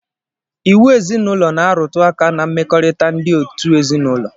Iwu ezinaụlọ na-arụtụ aka ná mmekọrịta ndị òtù ezinaụlọ